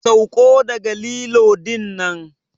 Sauko daga lilo dinnan!